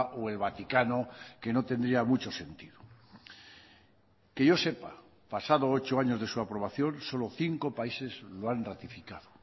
o el vaticano que no tendría mucho sentido que yo sepa pasado ocho años de su aprobación solo cinco países lo han ratificado